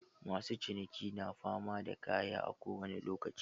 Masu ciniki na fama da kaya a kowani lokaci.